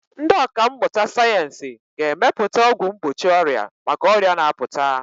Ndị ọkà mmụta sayensị ga-emepụta ọgwụ mgbochi ọrịa maka ọrịa na-apụta.